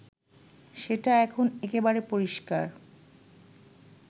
সেটা এখন একেবারে পরিষ্কার